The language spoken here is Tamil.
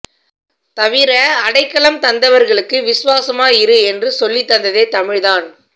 தவிர அடைக்கலம் தந்தவர்களுக்கு விசுவாசமா இரு என்று சொல்லித்தந்ததே தமிழ் தான்